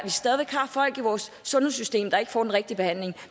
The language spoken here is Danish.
stadig har folk i vores sundhedssystem der ikke får den rigtige behandling